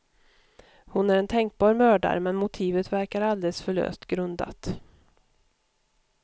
Hon är en tänkbar mördare, men motivet verkar alldeles för löst grundat.